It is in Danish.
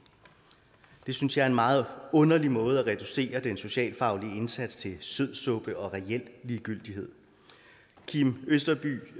jeg synes det er en meget underlig måde at reducere den socialfaglige indsats til sødsuppe og reel ligegyldighed kim østerby